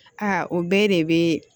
Aa o bɛɛ de bɛ